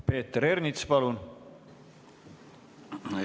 Peeter Ernits, palun!